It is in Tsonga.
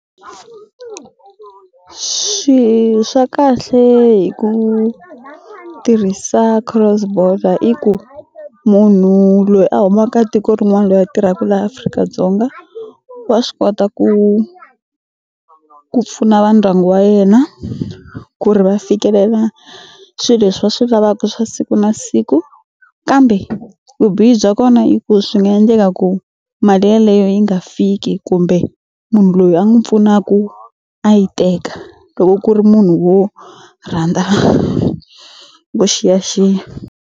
Swi swa kahle hi ku tirhisa cross-border i ku munhu loyi a humaka tiko rin'wana loyi a tirhaku laha Afrika-Dzonga wa swi kota ku ku pfuna va ndyangu wa yena ku ri va fikelela swi leswi va swi lavaku swa siku na siku kambe vubihi bya kona i ku swi nga endleka ku mali yeleyo yi nga fiki kumbe munhu loyi a n'wi pfunaku a yi teka loko ku ri munhu wo rhandza vuxiyaxiya.